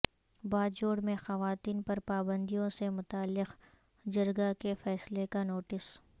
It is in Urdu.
باجوڑ میں خواتین پر پابندیوں سے متعلق جرگہ کے فیصلے کا نوٹس